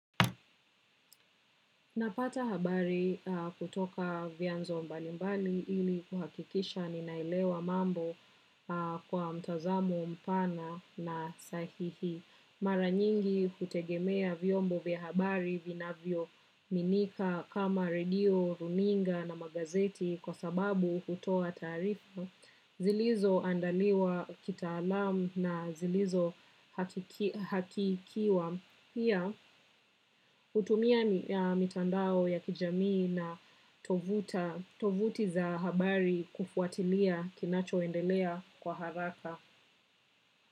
Napata habari kutoka vianzo mbalimbali ili kuhakikisha ninalewa mambo kwa mtazamo mpana na sahihi. Mara nyingi hutegemea vyombo vya habari vinavyoaminika kama radio, runinga na magazeti kwa sababu hutoa taarifa zilizoandaliwa kitaalamu na zilizo hakikiwa. Pia hutumia mitandao ya kijamii na tovuta tovuti za habari kufuatilia kinachoendelea kwa haraka.